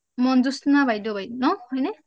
মঞ্জ্যতানা বাইদেউ হয় নে